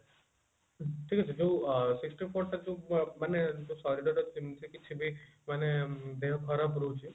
ଠିକ ଅଛି ଯୋଉ sixty four ଟା ଯୋଉ ଅ ମାନେ ଶରୀର ର ଯେମିତି କିଛି ବି ମାନେ ଦେହ ଖରାପ ରହୁଛି